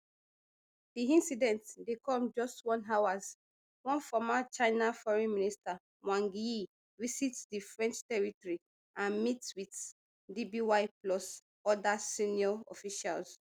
di incident dey come just hours one former china foreign minister wang yi visit di french territory and meet wit dby plus oda senior officials